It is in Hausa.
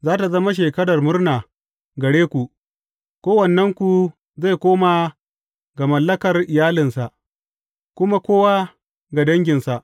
Za tă zama shekarar murna gare ku; kowannenku zai koma ga mallakar iyalinsa, kuma kowa ga danginsa.